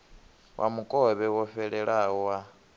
wa mukovhe wo fhelelaho wa